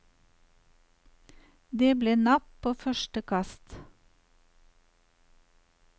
Det ble napp på første kast.